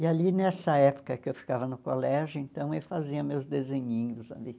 E ali, nessa época que eu ficava no colégio, então, eu fazia meus desenhinhos ali.